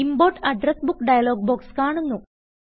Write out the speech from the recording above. import address book dialog box കാണുന്നു